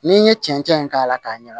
N'i ye cɛncɛn k'a la k'a ɲɛ